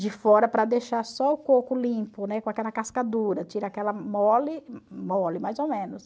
de fora para deixar só o coco limpo, né, com aquela casca dura, tira aquela mole, mole mais ou menos.